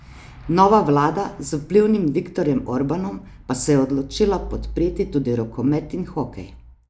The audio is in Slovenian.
Nova vlada z vplivnim Viktorjem Orbanom pa se je odločila podpreti tudi rokomet in hokej.